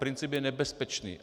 Princip je nebezpečný.